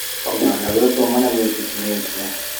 Kũhanda gwĩkũmũ nĩ gwĩtĩkĩrĩtio